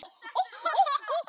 Jæja, elsku frændi minn.